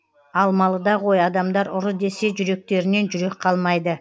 алмалыда ғой адамдар ұры десе жүректерінен жүрек қалмайды